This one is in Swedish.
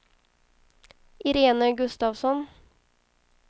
Irene Gustafsson